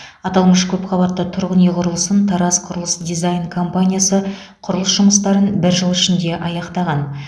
аталмыш көпқабатты тұрғын үй құрылысын тараз құрылыс дизайн компаниясы құрылыс жұмыстарын бір жыл ішінде аяқтаған